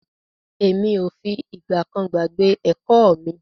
Emi o fi ìgbà kan gbàgbé ẹ̀kọ́ mi.